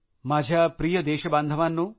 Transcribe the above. माझ्या प्रिय देशबांधवांनो